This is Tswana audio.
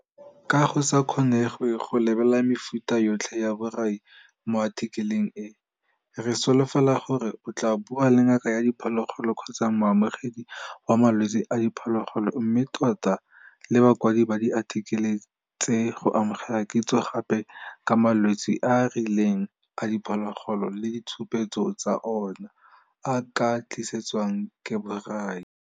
Ka go sa kgonegwe go lebelela mefuta yotlhe ya borai mo athikeleng e, re solofela gore o tlaa bua le ngaka ya diphologolo kgotsa moemedi wa malwetse a diphologo, mme tota le bakwadi ba diathikele tse go amogela kitso gape ka malwetse a a rileng a diphologolo le ditshupetso tsa ona a a ka tlisetswang ke borai.